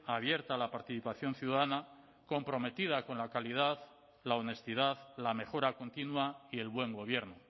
abierta a la participación ciudadana comprometida con la calidad la honestidad la mejora continua y el buen gobierno